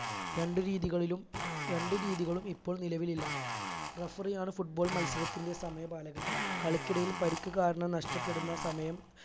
രണ്ടു രീതികളിലും ഇപ്പോൾ നിലവിലില്ല referee ആണ് football മത്സരത്തിന്റെ സമയപാലകൻ കളിക്കിടയിൽ പരിക്ക് കാരണം നഷ്ടപ്പെടുന്ന സമയം